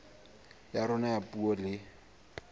ya rona ya puo le